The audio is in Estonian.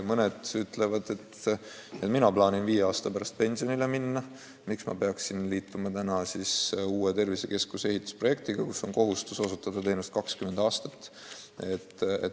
Mõned ütlevad, et mina plaanin viie aasta pärast pensionile minna, miks ma peaksin nüüd liituma uue tervisekeskuse ehitamise projektiga, mis näeb ette kohustust osutada teenust 20 aastat.